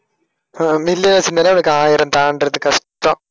அஹ் million வெச்சிருந்தாலே அதுக்கு ஆயிரம் தாண்டறது கஷ்டம்.